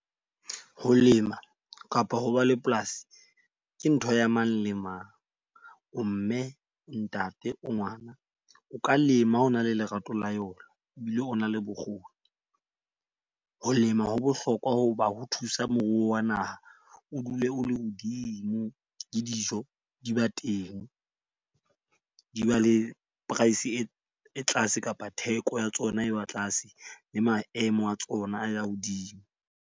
Ho lema kapo ho ba le polasi, ke ntho ya mang le mang o mme, ntate, o ngwana. O ka lema o na le lerato la yona. O bi le o na le bokgoni o ho lema. Ho bohlokwa hoba ho thusa moruo wa naha o dule o le hodimo le dijo di ba teng. Di ba le price e tlase kapa theko ya tsona e ba tlase le maemo a tsona a ya hodimo.